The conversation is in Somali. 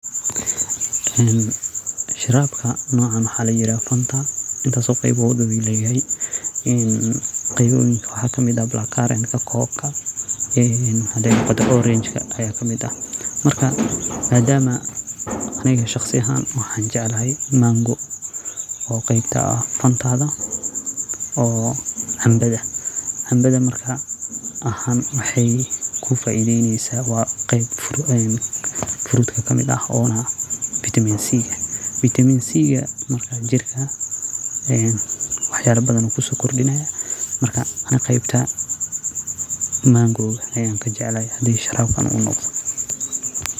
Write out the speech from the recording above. Sharabka nocan waxa layirahda Fanta intas qeyb ayu leyahay, qeybaha waxa kamid ah black current, coke, orange aya kamid aha marka aniga shaqsi aahan waxa jeclahay mango o qeyb kaah fantada oo cambaha ah. Camabada wexy kufaideneysa wa qeyb kamid ah furut ona vitamin c ah oo jirka waxyalo badan kusokordinaya marka qeybta mangoda ayan kajeclahay hadu sharabkan noqdo.